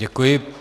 Děkuji.